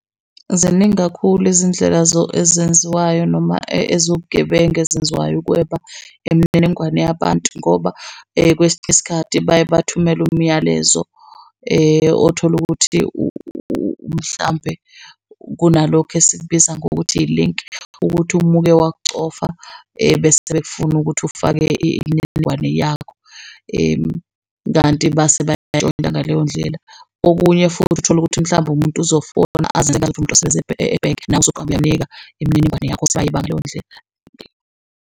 Ziningi kakhulu izindlela ezenziwayo noma eziwubugebengu ezenziwayo ukweba imininingwane yabantu ngoba kwesinye isikhathi baye bathumele umyalezo othola ukuthi mhlampe kunalokhu esikubiza ngokuthi ilinki, ukuthi uma uke wakucofa ebese kufune ukuthi ufake imininingwane yakho kanti base bayayintshontsha ngaleyo ndlela. Okunye futhi uthole ukuthi mhlawumbe umuntu uzofona azenze umuntu osebenza ebhenki nawe uyamnika imininingwane yakho ayeba ngaleyo ndlela.